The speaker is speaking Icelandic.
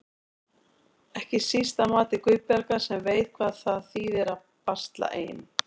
Ekki síst að mati Guðbjargar sem veit hvað það þýðir að basla ein.